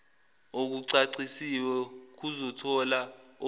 okucacisiwe kuzothola okuza